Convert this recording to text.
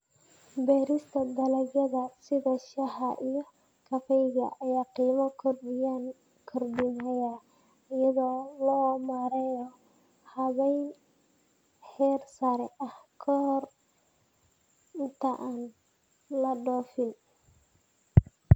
Beerista dalagyada sida shaaha iyo kafeega ayaa qiimo kordhinaya iyada oo la mariyo habayn heer sare ah ka hor inta aan la dhoofin.